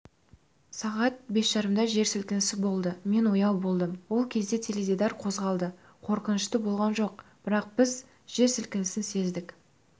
сағат бес жарымда жер сілкінісі болды мен ояу болдым ол кезде теледидар қозғалды қорқынышты болған жоқ бірақ біз жер сілкінісін сездік